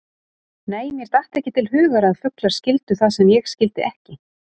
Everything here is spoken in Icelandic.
Nei, mér datt ekki til hugar að fuglar skildu það sem ég skildi ekki.